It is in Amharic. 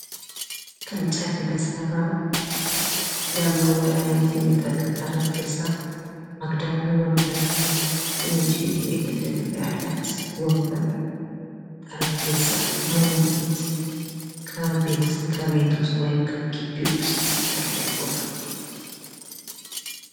ከእንጨት የተሰራ ለመወያየት የሚጠቅም ጠረጴዛ ፤ አግዳሚ ወንበር ትንሽዬ መደገፊያ ያላት አግዳሚ ወንበር፤ ጠረጴዛ ለውይይት ከቤት ውስጥ ወይም ከግቢ ውስጥ ያለ ቦታ።